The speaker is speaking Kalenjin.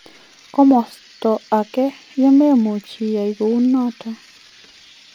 Komosto agei yememuch iyaaii kuunoton.